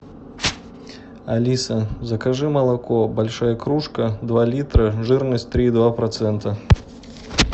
алиса закажи молоко большая кружка два литра жирность три и два процента